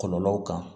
Kɔlɔlɔw kan